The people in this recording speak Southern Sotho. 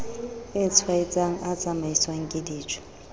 a tshwaetsang a tsamaiswang kedijo